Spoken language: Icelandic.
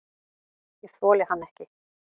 Ég þoli hann ekki.